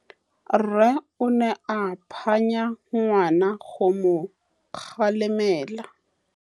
Rre o ne a phanya ngwana go mo galemela.